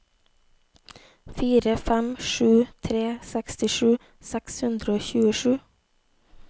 fire fem sju tre sekstisju seks hundre og tjuesju